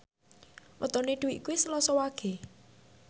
wetone Dwi kuwi Selasa Wage